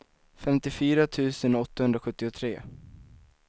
femtiofyra tusen åttahundrasjuttiotre